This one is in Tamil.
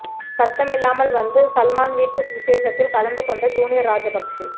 சத்தமில்லாமல் வந்து சல்மான் வீட்டு விசேஷத்தில் கலந்து கொண்ட ஜூனியர் ராஜபக்சே